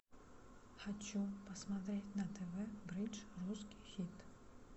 хочу посмотреть на тв бридж русский хит